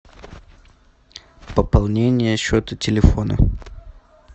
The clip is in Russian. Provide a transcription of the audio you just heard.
пополнение счета телефона